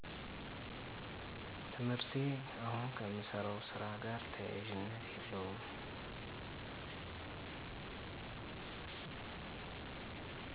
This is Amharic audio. ትምህርቴ አሁን ከምሰራው ስራ ጋር ተያያዥነት የለውም